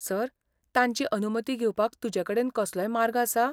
Sir, तांची अनुमती घेवपाक तुजेकडेन कसलोय मार्ग आसा?